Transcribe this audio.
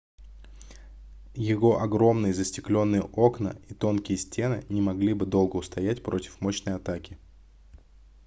его огромные застеклённые окна и тонкие стены не могли бы долго устоять против мощной атаки